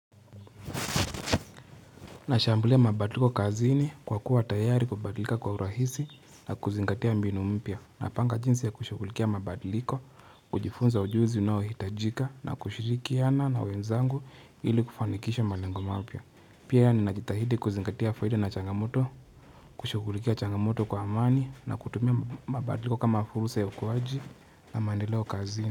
Nashambulia mabadiliko kazini kwa kuwa tayari kubadilika kwa urahisi na kuzingatia mbinu mpya Napanga jinsi ya kushughulikia mabadiliko, kujifunza ujuzi unaohitajika na kushirikiana na wenzangu ili kufanikisha malengo mapya Pia ninajitahidi kuzingatia faida na changamoto, kushughulikia changamoto kwa amani na kutumia mabadiliko kama fursa ya ukuaji na mandeleo kazini.